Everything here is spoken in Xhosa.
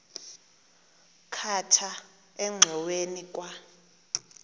khatha engxoweni kwa